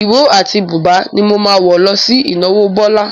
Ìró àti bùbá ni mo máa wọ̀ lọ sí ìnáwó Bọ́lá.